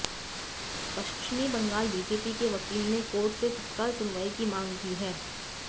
पश्चिमी बंगाल बीजेपी के वकील ने कोर्ट से तत्काल सुनवाई की मांग की है